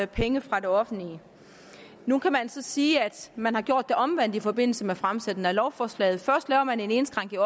penge fra det offentlige nu kan man så sige at man har gjort det omvendt i forbindelse med fremsættelsen af lovforslaget først laver man en indskrænkning